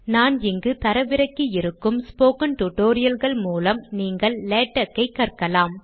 நான் இங்கு தரவிறக்கியிருக்கும் ஸ்போக்கன் டியூட்டோரியல் கள் மூலம் நீங்கள் லேடக்கை கற்கலாம்